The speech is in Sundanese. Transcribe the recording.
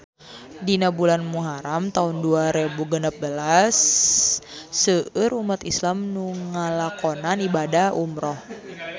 Dina bulan Muharam taun dua rebu genep belas seueur umat islam nu ngalakonan ibadah umrah